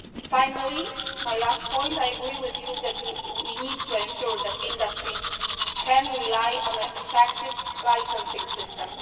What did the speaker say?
Finally, my last point, I agree that we need to ensure that industry can rely on an effective licencing system.